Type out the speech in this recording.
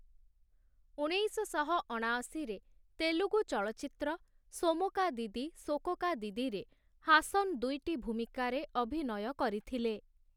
ଉଣେଇଶଶହ ଅଣାଅଶୀ ରେ ତେଲୁଗୁ ଚଳଚ୍ଚିତ୍ର ସୋମୋକାଦିଦି ସୋକୋକାଦିଦିରେ ହାସନ୍‌ ଦୁଇଟି ଭୂମିକାରେ ଅଭିନୟ କରିଥିଲେ ।